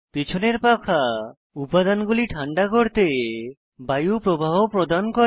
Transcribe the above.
পেছনের পাখা উপাদানগুলি ঠান্ডা করতে বায়ু প্রবাহ প্রদান করে